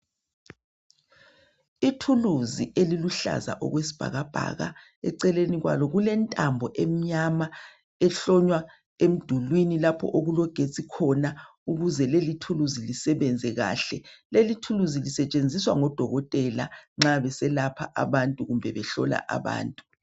Ithulusi eliluhlaza okwesibhaka bhaka eceleni kwalo kulentambo emnyama ehlonywa emdulwini lapho okulogetsi khona ukuze leli thuluzi lisebenze kahle leli thulusi lisetshenziswa ngodokotela nxa beselapha abantu kumbe behlola abantu.